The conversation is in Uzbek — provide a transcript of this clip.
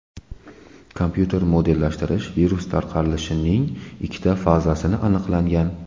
Kompyuter modellashtirish virus tarqalishining ikkita fazasini aniqlangan.